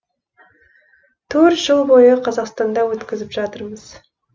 төрт жыл бойы қазақстанда өткізіп жатырмыз